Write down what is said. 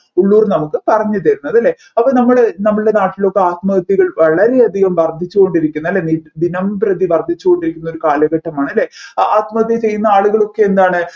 ഉള്ളൂർ നമ്മുക്ക് പറഞ്ഞു തരുന്നത് അല്ലെ അപ്പൊ നമ്മൾ നമ്മുടെ നാട്ടിലൊക്കെ ആത്മഹത്യകൾ വളരെ അധികം വർദ്ധിച്ചു കൊണ്ടിരിക്കുന്ന അല്ലെ ദിനപ്രതി വർദ്ധിച്ചു കൊണ്ടിരിക്കുന്ന ഒരു കാലഘട്ടമാണ് അല്ലെ അ ആത്മഹത്യ ചെയ്യന്ന ആളുകളൊക്കെ എന്താണ്